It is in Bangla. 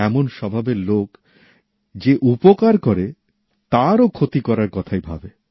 এমন স্বভাবের লোক যে উপকার করে তারও ক্ষতি করার কথাই ভাবে